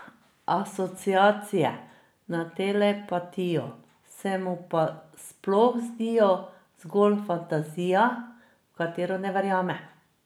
Asociacije na telepatijo se mu pa sploh zdijo zgolj fantazija, v katero ne verjame ...